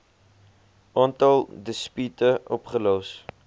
aantal dispute opgelos